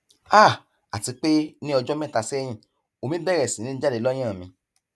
háà àti pé ní ọjọ mẹta sẹyìn omi bẹrẹ sí ní jáde lọyàn mi